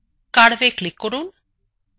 curveএ click করুন